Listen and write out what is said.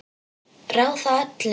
Ráða öllu?